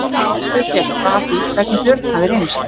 Valgerður spyr frétta af því hvernig Björn hafi reynst.